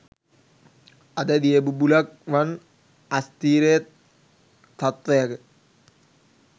අද දිය බුබුළක් වන් අස්ථීර තත්වයක